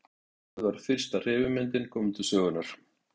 Þar með var fyrsta hreyfimyndin komin til sögunnar.